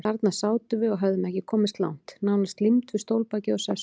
Þarna sátum við og höfðum ekki komist langt, nánast límd við stólbakið og sessuna.